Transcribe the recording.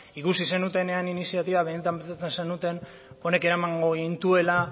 ikusi zenutenean iniziatiba benetan pentsatzen zenuten honek eramango gintuela